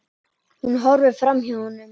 Hún horfir framhjá honum.